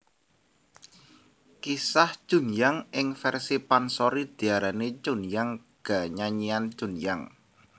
Kisah Chunhyang ing versi pansori diarani Chunhyang ga Nyanyian Chunhyang